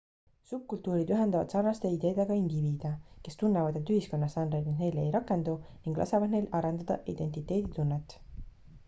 subkultuurid ühendavad sarnaste ideedega indiviide kes tunnevad et ühiskonnastandardid neile ei rakendu ning lasevad neil arendada identiteeditunnet